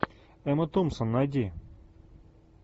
эмма томпсон найди